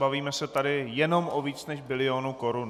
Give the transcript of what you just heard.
Bavíme se tady jenom o víc než bilionu korun.